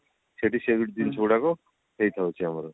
ସେଠି ସେ ବି ଜିନିଷ ଗୁଡାକ ହେଇଥାଉଛି ଆମର